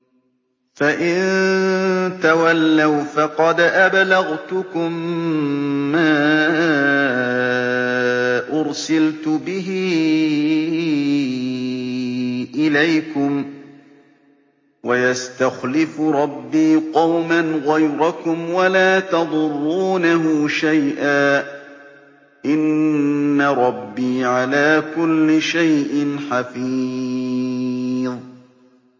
فَإِن تَوَلَّوْا فَقَدْ أَبْلَغْتُكُم مَّا أُرْسِلْتُ بِهِ إِلَيْكُمْ ۚ وَيَسْتَخْلِفُ رَبِّي قَوْمًا غَيْرَكُمْ وَلَا تَضُرُّونَهُ شَيْئًا ۚ إِنَّ رَبِّي عَلَىٰ كُلِّ شَيْءٍ حَفِيظٌ